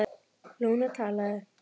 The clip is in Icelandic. Lúna talaði